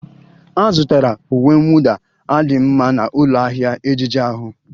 A zụtara uwe mwụda a dị mma na ụlọ ahịa ejiji ahụ